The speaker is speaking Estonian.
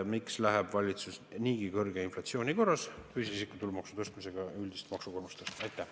Miks läheb valitsus niigi kõrge inflatsiooni olukorras füüsilise isiku tulumaksu tõstmisega üldist maksukoormust tõstma?